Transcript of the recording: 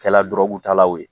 Kɛ la dɔrɔgutalaw ye.